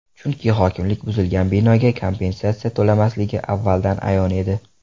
Chunki hokimlik buzilgan binoga kompensatsiya to‘lamasligi avvaldan ayon edi.